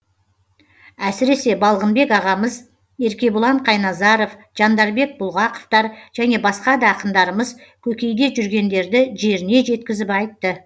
әсіресе балғынбек ағамыз еркебұлан қайназаров жандарбек бұлғақовтар және басқа да ақындарымыз көкейде жүргендерді жеріне жеткізіп айтты